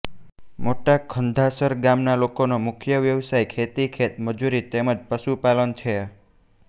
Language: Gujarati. મોટા ખંધાસર ગામના લોકોનો મુખ્ય વ્યવસાય ખેતી ખેતમજૂરી તેમ જ પશુપાલન છે